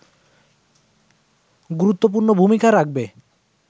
গুরুত্বপূর্ণ ভূমিকা রাখবে